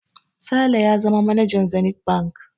Sale ya zama manajan Zenith Bank.